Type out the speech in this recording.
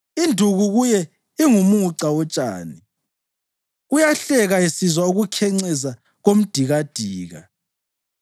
Induku kuye ingumuca wotshani; uyahleka esizwa ukukhenceza komdikadika.